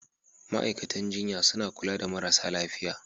Ma'aikatan jinya suna kula da marasa lafiya.